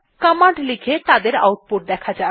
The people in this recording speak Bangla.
কমান্ড লিখে তাদের আউটপুট দেখা যাক